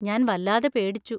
ഞാൻ വല്ലാതെ പേടിച്ചു.